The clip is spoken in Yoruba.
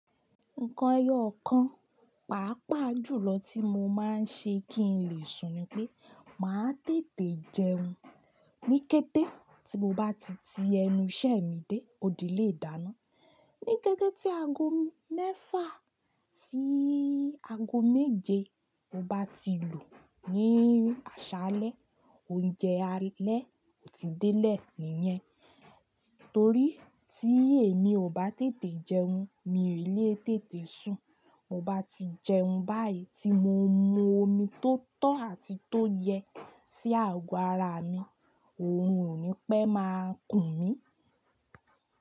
Nǹkan ẹyọ kan, pàápàá jùlọ tí mo máa ń ṣe kí n lè sùn ni pé, màá tètè jẹun ní kété tí mo bá ti ti ẹnu iṣẹ́ mi dé. Ó di léè dáná. Ní kété tí aago mẹ́fà sí aago méje mo bá ti lù ní àṣálẹ́, oúnjẹ alẹ́ ò tí dẹ́lẹ̀ nìyẹn. Torí tí èmi ò bá tètè jẹun, mi ò lè tètè sùn. Mo bá ti jẹun báyìí tí mo mu omi tó tọ́ àti tó yẹ sí ago ara mi, òun ò ní pẹ́ máa kùn mí.